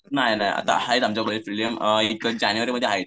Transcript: नाही नाही आता आहात आमच्या कॉलेजचे प्रिलिम एक जानेवारीमध्ये आहेत.